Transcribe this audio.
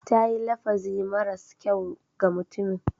Ta yi lafazi maras kyau ga mutumin.